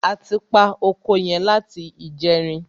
A ti pa oko yẹn láti ìjẹrin.